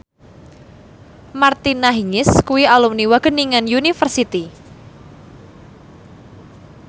Martina Hingis kuwi alumni Wageningen University